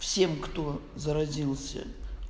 всем кто заразился